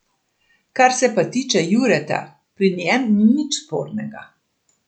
Kar se pa tiče Jureta, pri njem ni nič spornega.